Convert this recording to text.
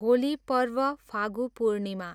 होली पर्व, फागु पूर्णिमा